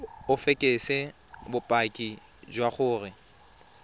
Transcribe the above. o fekese bopaki jwa gore